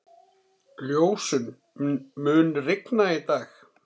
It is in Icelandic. Ljósunn, mun rigna í dag?